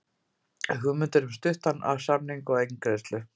Hugmyndir um stuttan samning og eingreiðslu